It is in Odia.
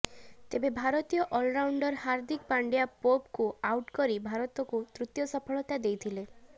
ତେବେ ଭାରତୀୟ ଅଲରାଉଣ୍ଡର ହାର୍ଦ୍ଦିକ ପାଣ୍ଡ୍ୟା ପୋପଙ୍କୁ ଆଉଟ୍ କରି ଭାରତକୁ ତୃତୀୟ ସଫଳତା ଦେଇଥିଲେ